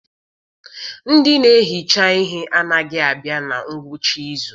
Ndị na-ehicha ihe anaghị abịa na ngwụcha izu.